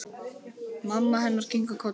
Mamma hennar kinkar kolli.